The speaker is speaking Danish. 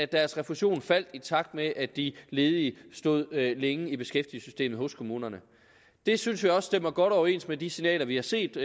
deres refusion faldt i takt med at de ledige stod længe i beskæftigelsessystemet hos kommunerne det synes vi også stemmer godt overens med de signaler vi har set